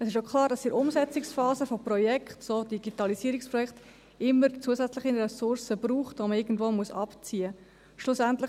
Es ist klar, dass man in der Umsetzungsphase von Projekten, so von Digitalisierungsprojekten, immer zusätzliche Ressourcen braucht, die man irgendwo abziehen muss.